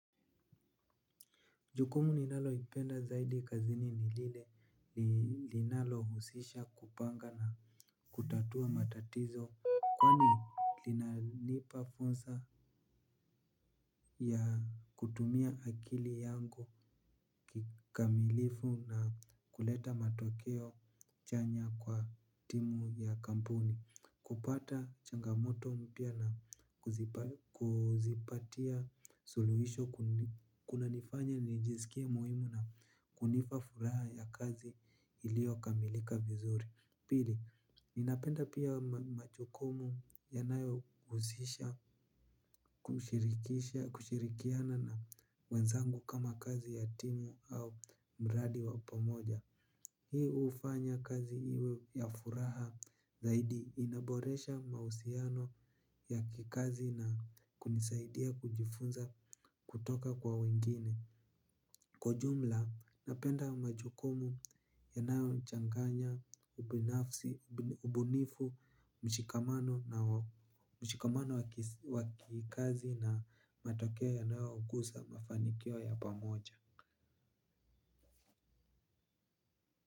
Jukumu ninalo ipenda zaidi kazini ni lile linalo husisha kupanga na kutatua matatizo, kwani linanilipa fonsa, a, kutumia akili yangu, kikamilifu na kuleta matokeo chanya kwa timu ya kampuni. Kupata changamoto mpya na kuzipatia suluhisho. Kuna nifanya nijisikie muhimu na kunifa furaha ya kazi, ilio kamilika vizuri. Pili, ninapenda pia, machokumu yanayo huzisha kushirikiana na wenzangu kama kazi ya timu au mradi wapamoja. Hii hufanya kazi iwe ya furaha, zaidi inaboresha mausiano ya kikazi na kunisaidia kujifunza kutoka kwa wengine. Kwa jumla, napenda majukumu, yanayo changanya, ubinafsi, ubunifu, mshikamano wa kikazi na matokeo ya nao ugusa mafanikio ya pamoja.